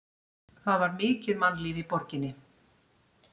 Það var mikið mannlíf í borginni.